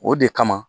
O de kama